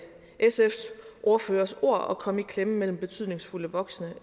sfs ordførers ord risikerer at komme i klemme mellem betydningsfulde voksne